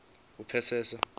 u pfesesa uri u vhewa